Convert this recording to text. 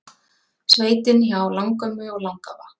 Sveitin hjá langömmu og langafa